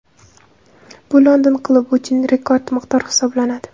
Bu London klubi uchun rekord miqdor hisoblanadi.